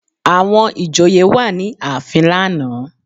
Àwọn ìjòyè wà ní ààfin lánàá